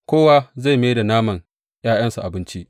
Kowa zai mai da naman ’ya’yansa abinci.